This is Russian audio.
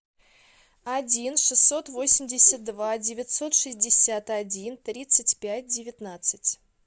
один шестьсот восемьдесят два девятьсот шестьдесят один тридцать пять девятнадцать